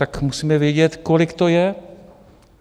Tak musíme vědět, kolik to je.